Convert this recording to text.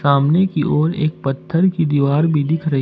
सामने की ओर एक पत्थर की दीवार भी दिख रही--